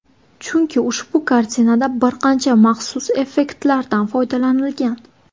Chunki ushbu kartinada bir qancha maxsus effektlardan foydalanilgan.